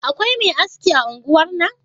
Akwai Me aski a unguwar nan?